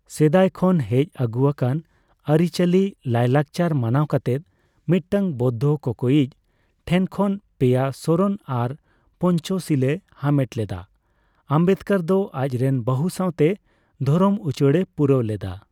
ᱥᱮᱫᱟᱭ ᱠᱷᱚᱱ ᱦᱮᱡ ᱟᱹᱜᱩ ᱟᱠᱟᱱ ᱟᱹᱨᱤ ᱪᱟᱞᱤ ᱞᱟᱹᱭ ᱞᱟᱠᱪᱟᱨ ᱢᱟᱱᱟᱣ ᱠᱟᱛᱮ, ᱢᱤᱫᱴᱟᱝ ᱵᱳᱣᱫᱽᱫᱷᱚ ᱠᱚᱠᱚᱭᱤᱡ ᱴᱷᱮᱱ ᱠᱷᱚᱱ ᱯᱮᱭᱟ ᱥᱚᱨᱚᱱ ᱟᱨ ᱯᱚᱱᱪᱚᱥᱤᱞᱮ ᱦᱟᱢᱮᱴ ᱞᱮᱫᱟ, ᱟᱢᱵᱮᱫᱽᱠᱚᱨ ᱫᱚ ᱟᱡ ᱨᱮᱱ ᱵᱟᱹᱦᱩ ᱥᱟᱣᱛᱮ ᱫᱷᱚᱨᱚᱢ ᱩᱪᱟᱹᱲᱮ ᱯᱩᱨᱟᱹᱣ ᱞᱮᱫᱟ ᱾